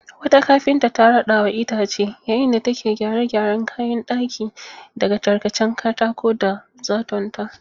Wata kafinta ta rada wa itace yayin da take gyare-gyaren kayan daki daga tarkacen katako da zatonta.